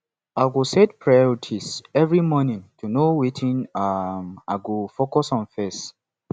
i go set priorities every morning to know wetin um i go focus on first